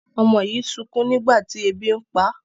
ọmọ yi sunkún nígbàtí ẹbi npá